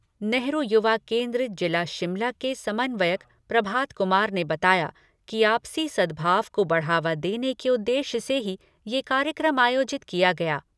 नेहरू युवा केन्द्र जिला शिमला के समन्वयक प्रभात कुमार ने बताया कि आपसी सद्भाव को बढ़ावा देने के उद्देश्य से ही ये कार्यक्रम आयोजित किया गया।